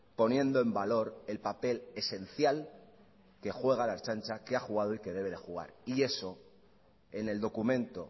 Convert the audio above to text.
poniendo en valor el papel esencial que juega la ertzaintza que ha jugado y que debe de jugar y eso en el documento